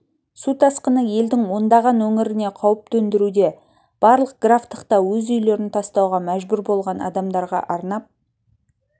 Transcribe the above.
су тасқыны елдің ондаған өңіріне қауіп төндіруде барлық графтықта өз үйлерін тастауға мәжбүр болған адамдарға арнап